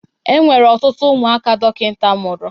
E nwere ọtụtụ ụmụaka dokita mụrụ.